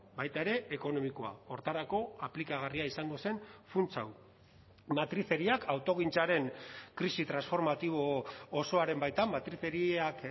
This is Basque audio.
baita ere ekonomikoa horretarako aplikagarria izango zen funts hau matrizeriak autogintzaren krisi transformatibo osoaren baitan matrizeriak